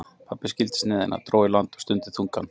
Pabbi skildi sneiðina, dró í land og stundi þungan